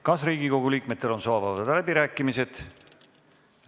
Kas Riigikogu liikmetel on soovi avada läbirääkimised?